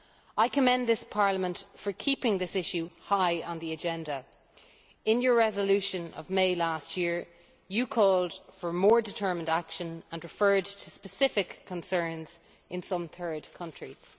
I commend this Parliament for keeping this issue high on the agenda. In your resolution of May last year you called for more determined action and referred to specific concerns in some third countries.